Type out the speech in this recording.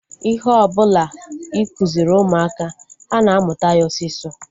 Ihe ọbụla ịkụziri ụmụaka, ha na-amụta ya osisọ